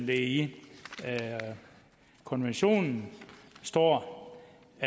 der i konventionen står